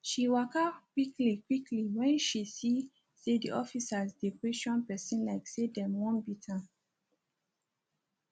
she waka quick quick when she see say di officers dey question pesin like say dem wan beat am